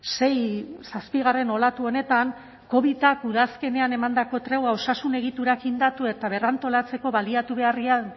sei zazpigarren olatu honetan covidak udazkenean emandako tregua osasun egiturak indartu eta berrantolatzeko baliatu beharrean